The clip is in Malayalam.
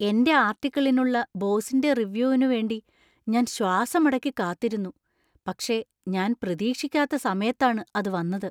എൻറെ ആർട്ടിക്കിളിനുള്ള ബോസിന്‍റെ റിവ്യൂവിനു വേണ്ടി ഞാൻ ശ്വാസമടക്കി കാത്തിരുന്നു, പക്ഷേ ഞാൻ പ്രതീക്ഷിക്കാത്ത സമയത്താണ് അത് വന്നത്.